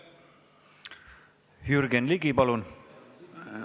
Jürgen Ligi, palun!